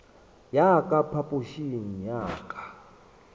ya ka phapošing ya ka